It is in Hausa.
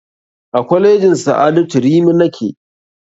A kwalejin sa'adatu rimi nake